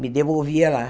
Me devolvia lá.